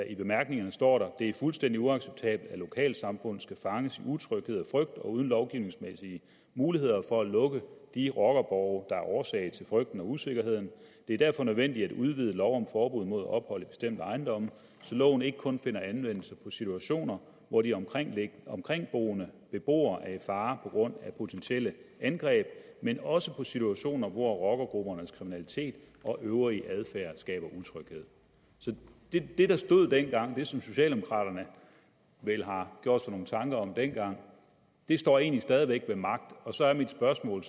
i bemærkningerne står der det er fuldstændigt uacceptabelt at lokalsamfund skal fanges i utryghed og frygt og uden lovgivningsmæssige muligheder for at lukke de rockerborge der er årsag til frygten og usikkerheden det er derfor nødvendigt at udvide lov om forbud mod ophold i bestemte ejendomme så loven ikke kun finder anvendelse på situationer hvor de omkringboende omkringboende beboere er i fare på grund af potentielle angreb men også på situationer hvor rockergruppernes kriminalitet og øvrige adfærd skaber utryghed det der stod dengang det som socialdemokraterne vel har gjort sig nogle tanker om dengang står egentlig stadig væk ved magt og så er mit spørgsmål